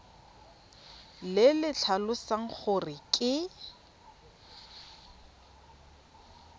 le le tlhalosang gore ke